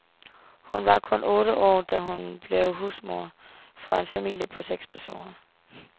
Hun var kun otte år, da hun blev husmor for en familie på seks personer.